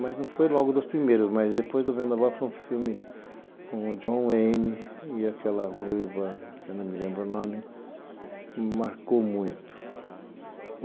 Mas não foi logo dos primeiros, mas depois do Vendaval foi um filme com o John Wayne e aquela ruiva, que eu não me lembro o nome, me marcou muito.